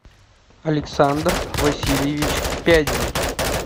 александр васильевич пядин